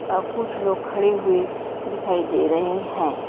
अ कुछ लोग खड़े हुए दिखाई दे रहे हैं।